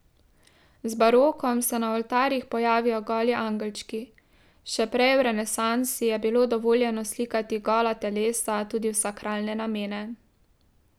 Z barokom se na oltarjih pojavijo goli angelčki, še prej v renesansi je bilo dovoljeno slikati gola telesa tudi v sakralne namene.